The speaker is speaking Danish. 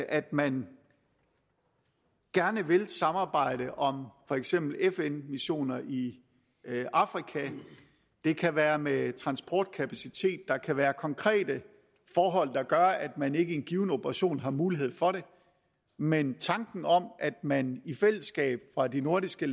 at man gerne vil samarbejde om for eksempel fn missioner i afrika det kan være med transportkapacitet der kan være konkrete forhold der gør at man ikke i en given operation har mulighed for det men tanken om at man i fællesskab fra de nordiske